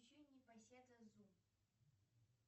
включи непоседа зу